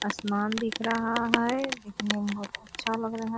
आसमान दिख रहा है दिखने में बहुत अच्छा लग रहा --